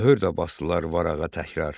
Mühür də basdılar varağa təkrar.